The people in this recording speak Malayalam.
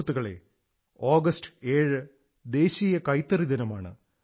സുഹൃത്തുക്കളേ ആഗസ്റ്റ് 7 ന് ദേശീയ കൈത്തറി ദിനമാണ്